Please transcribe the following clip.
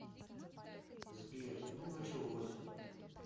сбер ну началось